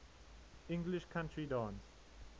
english country dance